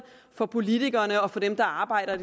for politikerene og for dem der arbejder